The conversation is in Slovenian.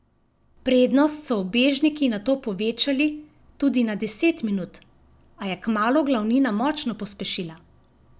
Prednost so ubežniki nato povečali tudi na deset minut, a je kmalu glavnina močno pospešila.